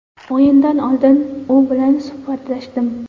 O‘yindan oldin u bilan suhbatlashdim.